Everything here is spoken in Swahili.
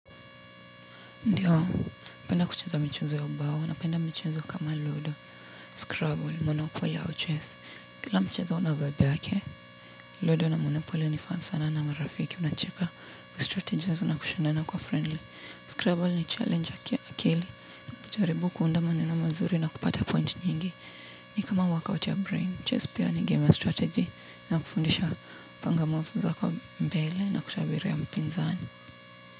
Ndiyo. Napenda kucheza michezo ya ubao, napenda michezo kama ludo, scrabble, monopoly au chess. Kila mchezo una vaibu yake, ludo na monopoly ni fan sana na marafiki, unacheka kustrategize na kushindana kwa friendly. Scrabble ina challenge akili. Jaribu kuunda maneno mazuri na kupata point nyingi. Ni kama work out ya brain. Chess pia ni gamer strategy, inakufundisha kupanga moves zako mbele na kutabiria mpinzani.